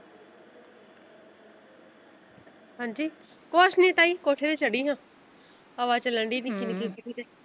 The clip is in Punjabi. ਹਾਂਜੀ ਕੁਛ ਨੀ ਤਾਈ ਕੋਠੇ ਤੇ ਚੜੀ ਹਾਂ ਹਵਾ ਚੱਲਣ ਡੀ ਨਿੱਕੀ ਨਿੱਕੀ।